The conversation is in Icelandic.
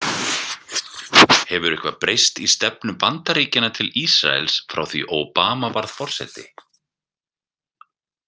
Hefur eitthvað breyst í stefnu Bandaríkjanna til Ísraels frá því Obama varð forseti?